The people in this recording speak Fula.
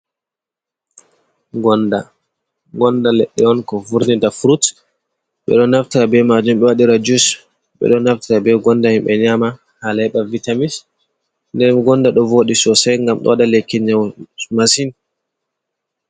Gonda. Gonda leddi on ko vurtinta furuts, be do naftata be majum be wadira jus, be do naftata be gonda himbe nyama hala hibbe heba vitamis, nden gonda do vodi sosai gam do wada lekki nyau masin.